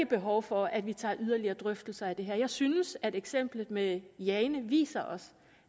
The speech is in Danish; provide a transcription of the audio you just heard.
behov for at vi tager yderligere drøftelser af det her jeg synes at eksemplet med jane viser os